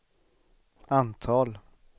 antal